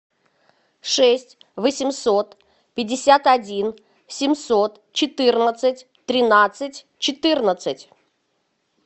шесть восемьсот пятьдесят один семьсот четырнадцать тринадцать четырнадцать